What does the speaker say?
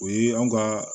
O ye anw ka